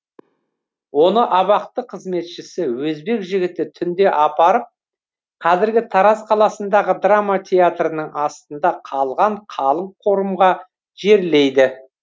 оны абақты қызметшісі өзбек жігіті түнде апарып қазіргі тараз қаласындағы драма театрының астында қалған қалың қорымға жерлейді